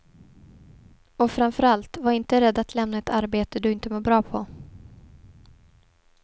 Och framför allt, var inte rädd att lämna ett arbete du inte mår bra på.